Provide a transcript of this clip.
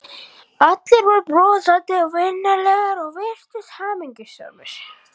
Allir voru brosandi og vingjarnlegir og virtust hamingjusamir.